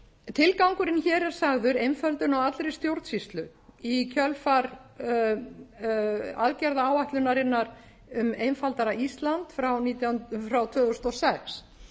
tilgangurinn hér er sagður einföldun á allri stjórnsýslu í kjölfar aðgerðaráætlunarinnar um einfaldara ísland frá tvö þúsund og sex